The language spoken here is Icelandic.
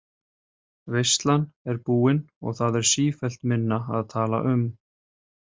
Veislan er búin og það er sífellt minna að tala um.